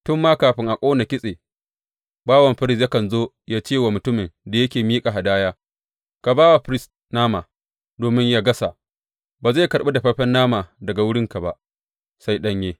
Tun ma kafin a ƙona kitse, bawan firist yakan zo yă ce wa mutumin da yake miƙa hadaya, Ka ba wa firist nama domin yă gasa, ba zai karɓi dafaffen nama daga wurinka ba, sai ɗanye.